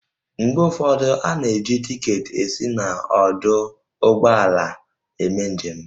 Mgbe ụfọdụ, a na-eji tiketi esi n'ọdụ ụgbọala eme njem